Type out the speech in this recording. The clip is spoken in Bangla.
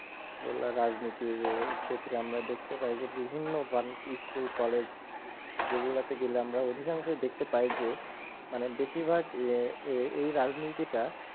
বললাম রাজনীতির ক্ষেত্রে আমরা দেখতে পাই যে বিভিন্ন bulkey school college যেগুলো থেকে আমরা অধিকাংশই দেখতে পাই যে মানে বেশিরভাগ এ~এই রাজনীতিটা,